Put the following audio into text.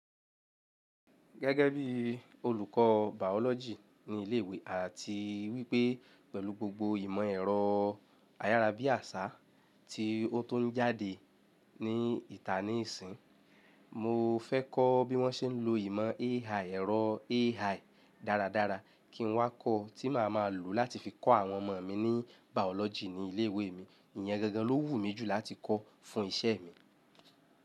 Gẹ́gẹ́ bí olùkọ́ biology ní ilé ìwé àti wípé pẹ̀lú gbogbo ìmọ̀ ẹ̀rọ ayárabíàṣá tí ó tun ń jáde ní ìta nísinyi, mo fẹ́ kọ́ bí wọ́n ṣe ń lo ìmọ̀ AI, ẹ̀rọ AI dáradára kí n wá kọ́ tí màá ma lò láti fi kọ́ àwọn ọmọ mi ní Biology ní ilé ìwé mi. Ìyẹn gangan ló wù mí jù láti kọ́ fún ìṣe mi.